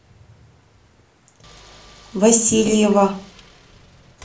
васильева